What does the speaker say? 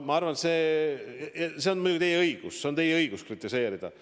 Ma arvan, et see on muidugi teie õigus, teil on õigus kritiseerida.